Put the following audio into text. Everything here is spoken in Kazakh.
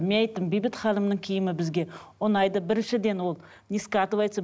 мен айттым бейбіт ханымның киімі бізге ұнайды біріншіден ол не скатывается